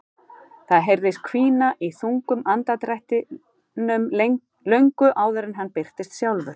Það heyrðist hvína í þungum andardrættinum löngu áður en hann birtist sjálfur.